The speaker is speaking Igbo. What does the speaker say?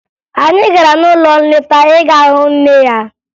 Anyị gara n'ụlọ nleta ịga hụ nne ya